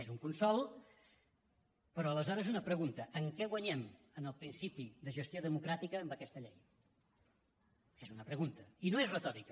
és un consol però aleshores una pregunta en què guanyem en el principi de gestió democràtica amb aquesta llei és una pregunta i no és retòrica